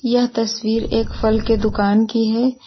यह तस्वीर एक फल के दुकान की है।